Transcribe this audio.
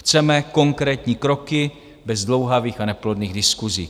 Chceme konkrétní kroky bez zdlouhavých a neplodných diskusí.